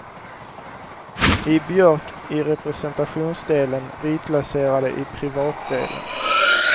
I björk i representationsdelen, vitlaserade i privatdelen.